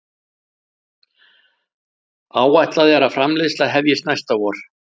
Áætlað er framleiðsla hefjist næsta vor